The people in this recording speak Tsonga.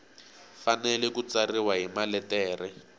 fanele ku tsariwa hi maletere